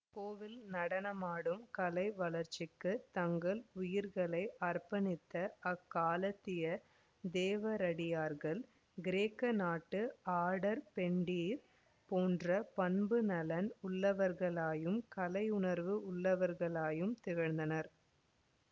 கோவில் நடனமாடும் கலை வளர்ச்சிக்குத் தங்கள் உயிர்களை அர்ப்பணித்த அக்காலத்திய தேவரடியார்கள் கிரேக்க நாட்டு ஆடற் பெண்டிர் போன்ற பண்புநலன் உள்ளவர்களாயும் கலையுணர்வு உடையவர்களாயும் திகழ்ந்தனர்